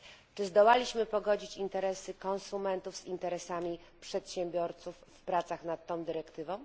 Czy zdołaliśmy pogodzić interesy konsumentów z interesami przedsiębiorców w pracach nad tą dyrektywą?